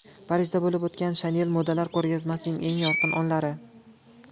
Parijda bo‘lib o‘tgan Chanel modalar ko‘rgazmasining eng yorqin onlari.